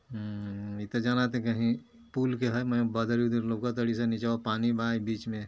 हम्म इ त जानता कि हयी पुल के ह मय बदरी वदरी लउकत तरी सन नीचवां पानी बा बीच में --